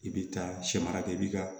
I bɛ taa sɛmara kɛ i bɛ ka